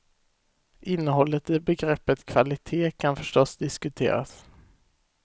Innehållet i begreppet kvalitet kan förstås diskuteras.